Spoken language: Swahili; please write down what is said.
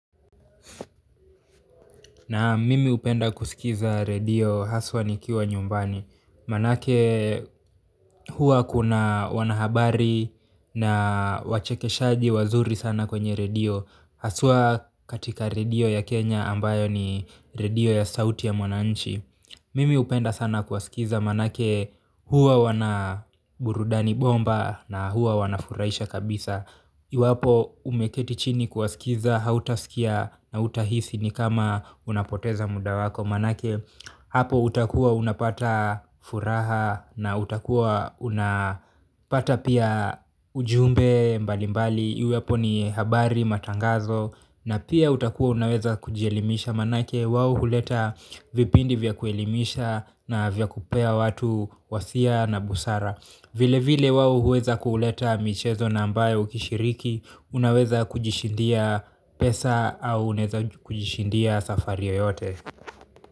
Naam, mimi hupenda kusikiliza redio, hasa nikiwa nyumbani. Maana yake huwa kuna wanahabari na wachekeshaji wazuri sana kwenye redio, hasa katika redio ya Kenya ambayo ni redio ya sauti ya Mwananchi. Mimi hupenda sana kuwasikiliza maana yake huwa wako na burudisha bomba na huwa wanafurahisha kabisa. Iwapo umeketi chini kuwasikiliza, hutasikia na hutahisi kama unapoteza muda wako, maana yake. Hapo utakua unapata furaha na utakua unapata pia ujumbe mbalimbali, iwe ni habari matangazo. Na pia utakuwa unaweza kujielimisha maana yake wao huleta vipindi vya kuelimimisha na vya kupea watu wasia na busara. Vilevile wao huweza kuleta michezo na ambayo ukishiriki unaweza kujishindia. Pesa au unaweza kujishindia safari yeyote.